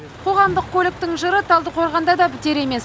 қоғамдық көліктің жыры талдықорғанда да бітер емес